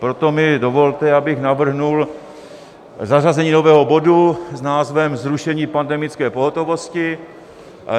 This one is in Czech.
Proto mi dovolte, abych navrhl zařazení nového bodu s názvem Zrušení pandemické pohotovosti.